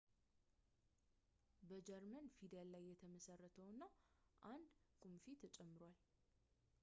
በጀርመን ፊደል ላይ የተመሠረተ ነው እና አንድ ቁምፊ «õ/õ» ተጨምሯል